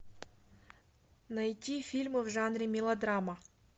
найти фильмы в жанре мелодрама